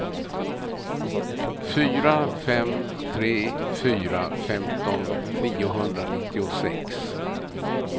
fyra fem tre fyra femton niohundranittiosex